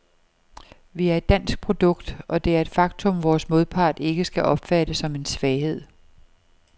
Vi er et dansk produkt, og det er et faktum, vores modpart ikke skal opfatte som en svaghed.